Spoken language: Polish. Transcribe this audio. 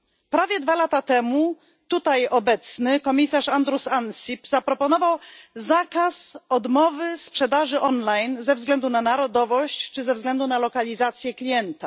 Prawie dwa lata temu tutaj obecny komisarz Andrus Ansip zaproponował zakaz odmowy sprzedaży online ze względu na narodowość czy ze względu na lokalizację klienta.